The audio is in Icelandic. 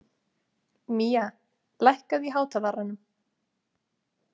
Mía, lækkaðu í hátalaranum.